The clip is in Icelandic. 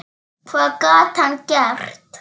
Hvað gat hann gert?